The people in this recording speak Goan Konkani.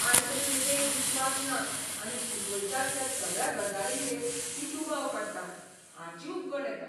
आयचे पिळगेक विश्वास ना आनी शिकयतात त्या सगळ्या गजालींचेर ती दुबाव काडटा हाची उबगण येता.